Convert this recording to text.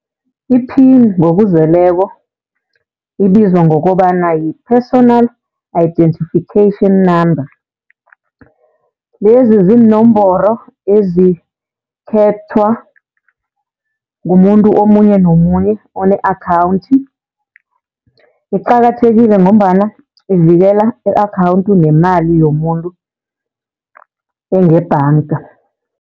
Iphini ngokuzeleko ibizwa ngokobana yi-personal identification number. Lezi ziinomboro ezikhethwa ngumuntu omunye nomunye one-akhawunthi. Iqakathekile ngombana ivikela i-akhawuntu nemali yomuntu engebhanga.